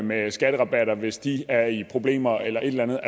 med skatterabatter hvis de er i problemer eller et eller andet